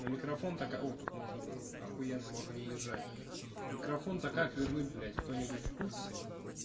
на микрофон так о тут можног за ахуенно можно не держать микрофон то как вернуть блядь кто-нибудь в курсе